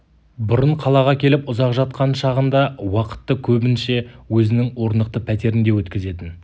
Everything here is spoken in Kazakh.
бұрын қалаға келіп ұзақ жатқан шағында уақытты көбінше өзінің орнықты пәтерінде өткізетін